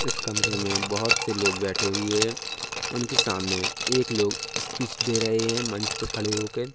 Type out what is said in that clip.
इस कमरे में बोहोत सेलोग बैठे हुए हैं उनके सामने एक लोग स्पीच दे रहे हैं मंच पे खड़े होके।